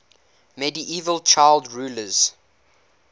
medieval child rulers